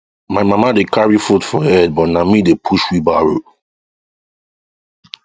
my mama dey carry food for head but na me dey push wheelbarrow